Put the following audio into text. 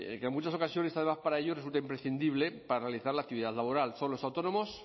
en muchas ocasiones además para ello resulta imprescindible paralizar la actividad laboral son los autónomos